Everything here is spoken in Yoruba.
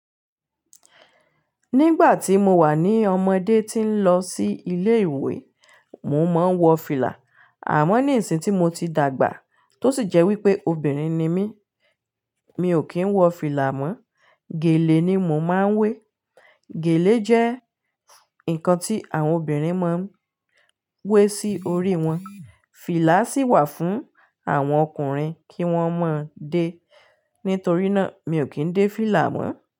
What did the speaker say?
Nígbà tí mo wà ní ọmọdé tí ń lọ sí ilé ìwé, mo máa ń wọ fìlà. Àmọ́ ní ìsìn tí mo ti dàgbà tó sì jẹ́ wípé obìnrin ni mí, mi ò kí ń wọ fìlà mọ́, gèlè ni mo máa ń wé. Gèlè jẹ́ nǹkan tí àwọn obìnrin máa ń wé sí orí wọn. Fìlà sì wà fún àwọn ọkùnrin kí wón máa ń dé. Nítorí náà, mi ò kí ń dé fìlà mọ̀ọ́